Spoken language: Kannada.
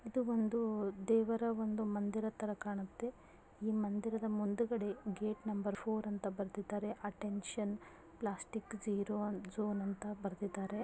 ಇದು ಒಂದು ದೇವರ ಒಂದು ಮಂದಿರದ ತರ ಕಾಣತ್ತೆ. ಈ ಮಂದಿರದ ಮುಂದುಗಡೆ ಗೇಟ್ ನಂಬರ್ ಫೋರ್ ಅಂತ ಬರ್ದಿದಾರೆ. ಅಟೆಂಷನ್ ಪ್ಲಾಸ್ಟಿಕ್ ಜೀರೋ ಜೋನ್ ಅಂತ ಬರ್ದಿದಾರೆ.